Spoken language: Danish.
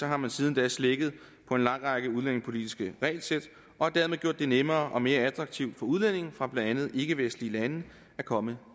har man siden da slækket på en lang række udlændingepolitiske regelsæt og dermed gjort det nemmere og mere attraktivt for udlændinge fra blandt andet ikkevestlige lande at komme